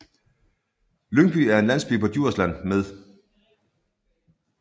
Lyngby er en landsby på Djursland med